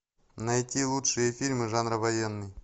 найти лучшие фильмы жанра военный